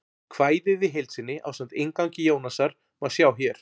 Kvæðið í heild sinni, ásamt inngangi Jónasar, má sjá hér.